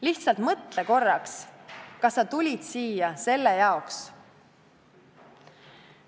Lihtsalt mõtle korraks, kas sa tulid siia selle jaoks!